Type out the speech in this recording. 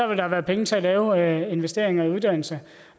der være penge til at lave investeringer i uddannelse